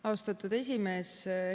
Austatud esimees!